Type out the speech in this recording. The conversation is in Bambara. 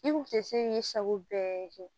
I kun tɛ se k'i sago bɛɛ kɛ